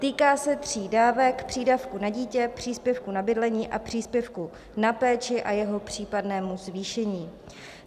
Týká se tří dávek - přídavku na dítě, příspěvku na bydlení a příspěvku na péči a jeho případného zvýšení.